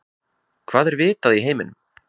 Hvað er vitað í heiminum?